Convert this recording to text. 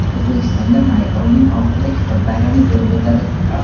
O‘zbekistonda may oyining oxirida kitob bayrami bo‘lib o‘tadi.